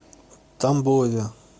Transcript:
тамбове